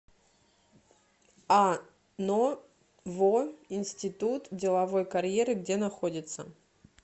ано во институт деловой карьеры где находится